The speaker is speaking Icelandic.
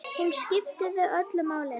Hún skipti þig öllu máli.